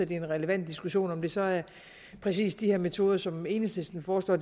det er en relevant diskussion om det så er præcis de metoder som enhedslisten foreslår